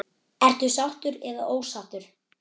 Ertu sáttur eða ósáttur?